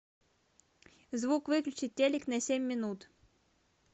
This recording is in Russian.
звук выключить телек на семь минут